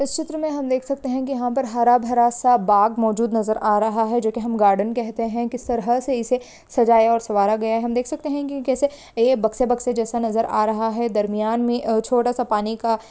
इस चित्र में हम देख सकते है की यहाँ हरा भरा सा बाग मौजूद नजर आ रहा है जो की हम गार्डेन कहते है कीस तरह से इसे सजाया और सवारा गया है हम देख सकते है की कैसे ए बक्से बक्से जैसा नजर आ रहा है दरमियान मे और छोटा सा पानी का--